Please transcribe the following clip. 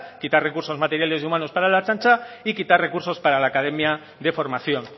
quitar recursos materiales y humanos para ertzaintza y quitar recursos para la academia de formación